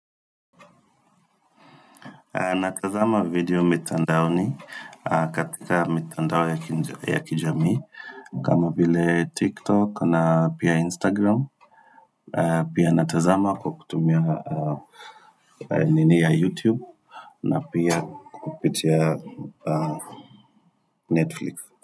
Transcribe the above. Natazama video mitandaoni katika mitandao ya kijamii, kama vile TikTok na pia Instagram, pia natazama kwa kutumia nini ya YouTube na pia kupitia Netflix.